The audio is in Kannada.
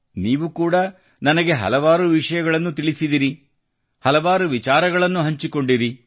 ನೀವು ಕೂಡಾ ನನಗೆ ಹಲವಾರು ವಿಷಯಗಳನ್ನು ತಿಳಿಸಿದಿರಿ ಹಲವಾರು ವಿಚಾರಗಳನ್ನೂ ಹಂಚಿಕೊಂಡಿರಿ